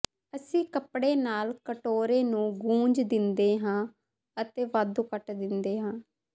ਅਸੀਂ ਕੱਪੜੇ ਨਾਲ ਕਟੋਰੇ ਨੂੰ ਗੂੰਜ ਦਿੰਦੇ ਹਾਂ ਅਤੇ ਵਾਧੂ ਕੱਟ ਦਿੰਦੇ ਹਾਂ